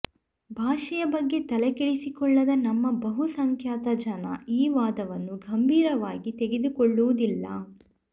ಭಾಷೆಯ ಬಗ್ಗೆ ತಲೆಕೆಡಿಸಿಕೊಳ್ಳದ ನಮ್ಮ ಬಹುಸಂಖ್ಯಾತ ಜನ ಈ ವಾದವನ್ನು ಗಂಭೀರವಾಗಿ ತೆಗೆದುಕೊಳ್ಳುವುದಿಲ್ಲ